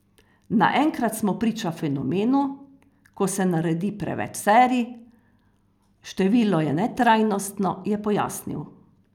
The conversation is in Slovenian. Naenkrat smo priča fenomenu, ko se naredi preveč serij, število je netrajnostno, je pojasnil.